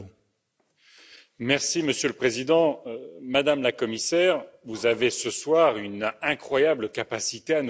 Monsieur le Président, Madame la Commissaire, vous avez ce soir une incroyable capacité à nous raconter un conte de fées.